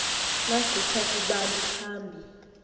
naggitha kubani phambi